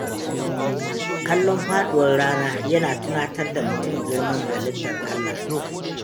Kallon faɗuwar rana yana tunatar da mutum girman halittar Allah.